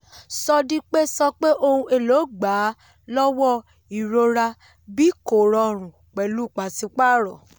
sódípè sọ pé ohun èlò gbà á lọ́wọ́ ìrora bí kò rọrùn pẹ̀lú pàṣípààrọ̀.